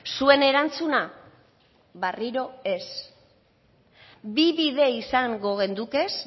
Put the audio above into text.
zuen erantzuna berriro ez bi bide izango genuke